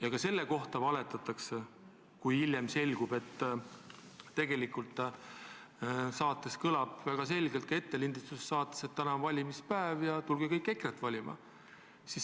Aga selle kohta valetatakse, sest hiljem selgub, et tegelikult kõlab ettelindistatud saates selgelt, et täna on valimispäev ja tulge kõik EKRE-t valima.